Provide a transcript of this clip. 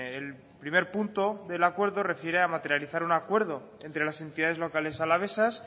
el primer punto del acuerdo refiere a materializar un acuerdo entre las entidades locales alavesas